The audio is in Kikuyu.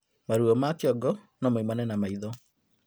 Maruo ma kĩongo nomaumane na maĩtho